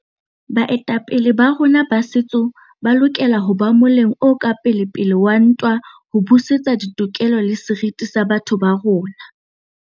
Baetapele ba rona ba setso ba lokela ho ba moleng o ka pelepele wa ntwa ho busetsa ditokelo le seriti sa batho ba rona.